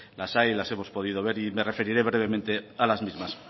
las hay las hemos podido ver y me referiré brevemente a las mismas